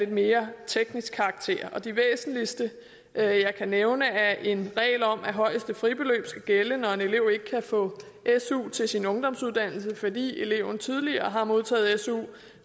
mere teknisk karakter de væsentligste jeg kan nævne er en regel om at højeste fribeløb skal gælde når en elev ikke kan få su til sin ungdomsuddannelse fordi eleven tidligere har modtaget su